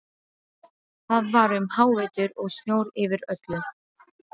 Það var um hávetur og snjór yfir öllu.